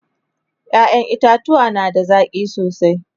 ƴaƴan itatauwa na da zaki sosai